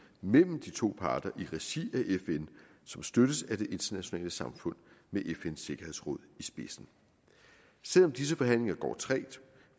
mellem de to parter i regi af fn som støttes af det internationale samfund med fns sikkerhedsråd i spidsen selv om disse forhandlinger går trægt